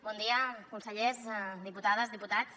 bon dia consellers diputades diputats